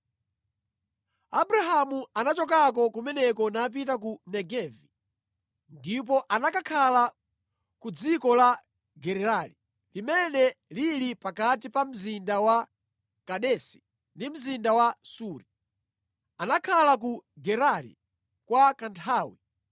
Abrahamu anachokako kumeneko napita ku Negevi ndipo anakakhala ku dziko la Gerari, limene lili pakati pa mzinda wa Kadesi ndi mzinda wa Suri. Anakhala ku Gerari kwa kanthawi,